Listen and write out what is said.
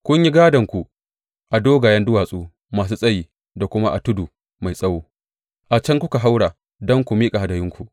Kun yi gadonku a dogayen duwatsu masu tsayi da kuma a tudu mai tsawo; a can kuka haura don ku miƙa hadayunku.